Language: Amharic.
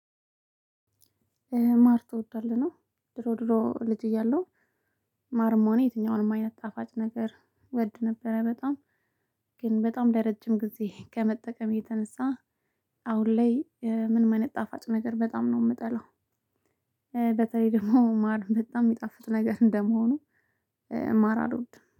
ማር ትወዳለህ ነው ድሮ ድሮ ልጅ እያለሁ ማርሞኔ የትኛውንም አይነት ጣፋጭ ነገር ወድ ነበረ በጣም ግን በጣም ለረጅም ጊዜ ከመጠቀም የተነሳ አሁን ላይ ምን አይነት ጣፋጭ ነገር በጣም ነው የምጠለው። በተለይ ደግሞ ማር በጣም የሚጣፍጥ ነገር እንደመሆኑ ማር አልወድም